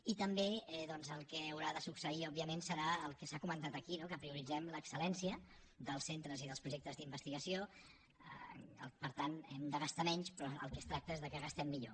i també doncs el que haurà de succeir òbviament serà el que s’ha comentat aquí no que prioritzem l’excel·lència dels centres i dels projectes d’investigació per tant hem de gastar menys però del que es tracta és que gastem millor